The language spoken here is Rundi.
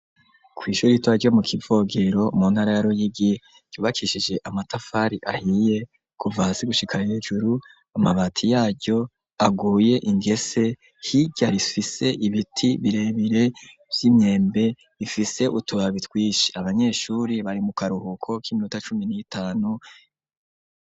Kw'ishuri ritoya ryo mu Kivogero mu ntara ya Ruyigi yubakishije amatafari ahiye kuva hasi gushika hejuru, amabati yaryo aguye ingese, hirya ifise ibiti birebire vy'imyembe ifise utubabi twinshi abanyeshure, bari mu karuhuko k'iminota cumi n'itanu.